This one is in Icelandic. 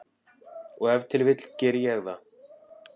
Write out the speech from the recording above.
Og ef til vill geri ég það.